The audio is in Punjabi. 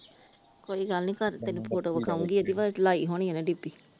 ਕੋਈ ਗੱਲ ਨੀ ਕੱਲ ਤੈਨੂੰ ਫੋਟੋ ਵਿਖਾਉਗੀ ਇਹਦੀ ਲਾਈ ਹੁਣੀ ਇਹਨੇ ਡੀਪੀ ।